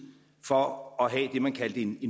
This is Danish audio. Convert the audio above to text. for at have det man kaldte en